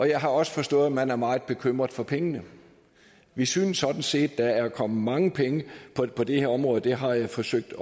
jeg har også forstået at man er meget bekymret for pengene vi synes sådan set der er kommet mange penge på det her område og det har jeg forsøgt